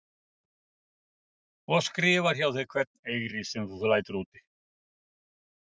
Og skrifar hjá þér hvern eyri sem þú lætur úti?